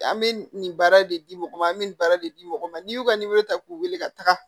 An bɛ nin baara de di mɔgɔ ma an bɛ nin baara de di mɔgɔ ma n'i y'u ka ta k'u wele ka taga